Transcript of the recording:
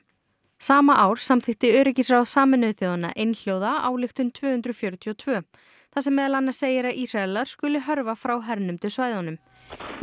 sama ár samþykkti öryggisráð Sameinuðu þjóðanna ályktun tvö hundruð fjörutíu og tvö þar sem meðal annars segir að Ísraelar skuli hörfa frá hernumdu svæðunum í